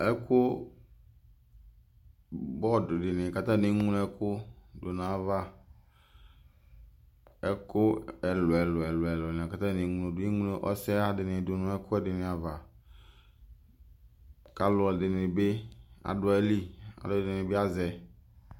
Ɛkʋ, board dini k'atani eŋlo ɛkʋ dʋ n'ayava Ɛkʋ ɛlʋ ɛlʋ lɛlʋ a k'atani eŋlo dʋ, emlo ɔsɛha dini dʋ nʋ ɛk'ɛɖini ava, k'alʋɛdini bi adʋ ayili, k'alʋ ɛdini bi azɛ